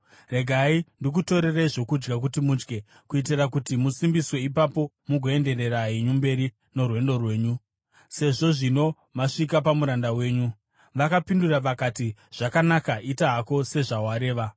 Regai ndikutorerei zvokudya kuti mudye, kuitira kuti musimbiswe ipapo mugoenderera henyu mberi norwendo rwenyu, sezvo zvino masvika pamuranda wenyu.” Vakapindura vakati, “Zvakanaka, ita hako sezvawareva.”